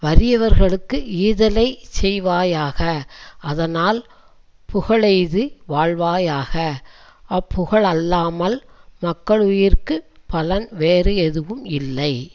வறியவர்களுக்கு ஈதலைச் செய்வாயாக அதனால் புகழெய்து வாழ்வாயாக அப்புகழல்லாமல் மக்களுயிர்க்குப் பலன் வேறு எதுவும் இல்லை